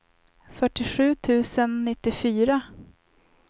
fyrtiosju tusen nittiofyra